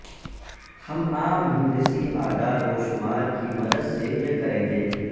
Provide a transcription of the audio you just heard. ہم عام ہندسی اعداد و شمار کی مدد سے یہ کریں گے